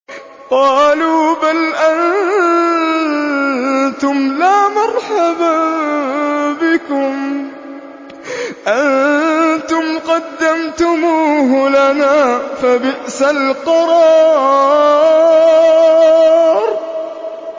قَالُوا بَلْ أَنتُمْ لَا مَرْحَبًا بِكُمْ ۖ أَنتُمْ قَدَّمْتُمُوهُ لَنَا ۖ فَبِئْسَ الْقَرَارُ